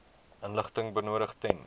inligting benodig ten